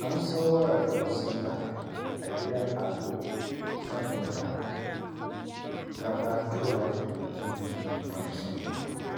An sayo ragon sallah a gidan Ado saboda gabatowar bikin Babbar sallah